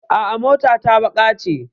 A'a, mota ta baƙa ce.